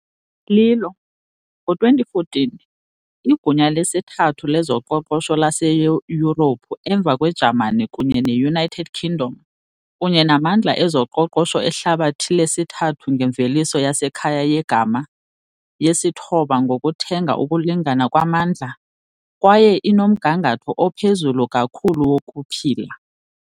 Lilo, ngo-2014, igunya lesithathu lezoqoqosho laseYurophu emva kweJamani kunye ne-United Kingdom, kunye namandla ezoqoqosho ehlabathi lesithandathu ngemveliso yasekhaya yegama, yesithoba ngokuthenga ukulingana kwamandla, kwaye inomgangatho ophezulu kakhulu wokuphila.